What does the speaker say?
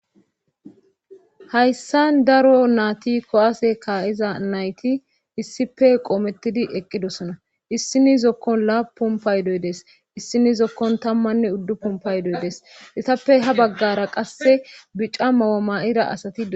hayssan daro naati ko7aase kaayiza nayti issife qoomettidi eqqidosona issinizokkon laapumpaydoydees issinizokkon tammanne uddu pumpaydoydes itappe ha baggara qasse bica mayo ma7ira asati